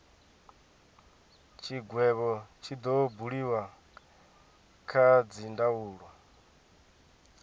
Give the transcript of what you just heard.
tshigwevho tshi do buliwa kha dzindaulo